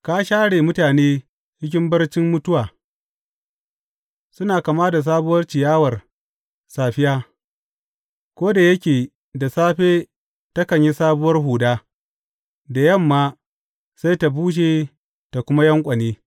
Ka share mutane cikin barcin mutuwa; suna kama da sabuwa ciyawar safiya, ko da yake da safe takan yi sabuwar huda da yamma sai ta bushe ta kuma yanƙwane.